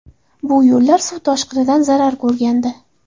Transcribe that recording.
Bu yo‘llar suv toshqinidan zarar ko‘rgandi.